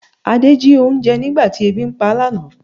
Ade jí oúnjẹ nígbà tí ebi ń pá lánàá